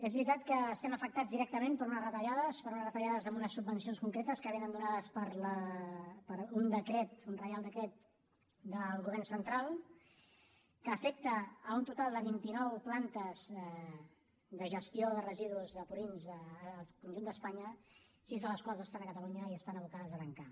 és veritat que estem afectats directament per unes retallades per unes retallades en unes subvencions concretes que són donades per un decret un reial decret del govern central que afecta un total de vint nou plantes de gestió de residus de purins al conjunt d’espanya sis de les quals estan a catalunya i estan abocades a tancar